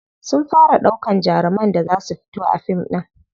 Sun fara ɗaukan jaruman da za su fito a fim ɗin.